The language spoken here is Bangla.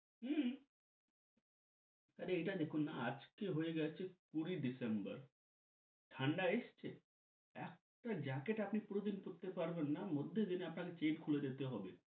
হম আরে এটা দেখুন না আজকে হয়ে গেছে কুড়ি December ঠান্ডা এসছে? একটা jacket আপনি পুরোদিন পরতে পারবেনা মধ্য দিনই আপনাকে chain খুলে দিতে হবে